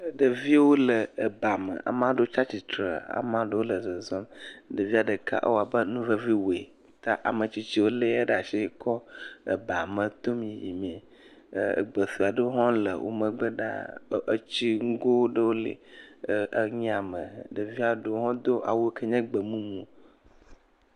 Ɖeviwo le ebame. Ama ɖewo tsa tsitre, ama ɖewo le zɔzɔm. Ɖevia ɖeka ewɔ abe nu vevi wɔe ta ametsitsiwo lé eya ɖe asi kɔ ebame tom yimee. ɛɛ egbe suea aɖewo hãwo le wo megbe ɖaa. Etsinugo ɖewo le ɛɛ enu ya me. Ɖevia ɖewo hã do awu yi ke nye gbemumu.